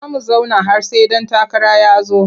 Za mu zauna har sai ɗan takara ya zo.